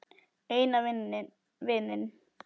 Eina vininn.